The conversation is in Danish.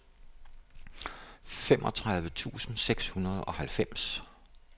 femogtredive tusind seks hundrede og halvfems